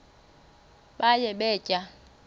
baye bee tyaa